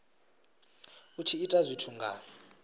u tshi ita zwithu nga